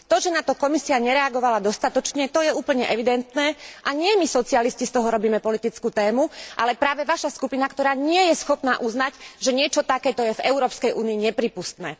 To, že na to Komisia nereagovala dostatočne, to je úplne evidentné a nie my socialisti z toho robíme politickú tému, ale práve Vaša skupina, ktorá nie je schopná uznať, že niečo takéto je v Európskej únii neprípustné.